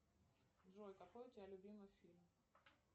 джой какой у тебя любимый фильм